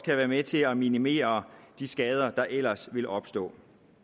være med til at minimere de skader der ellers ville opstå